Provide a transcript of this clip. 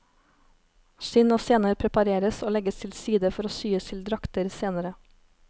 Skinn og sener prepareres og legges til side for å syes til drakter senere.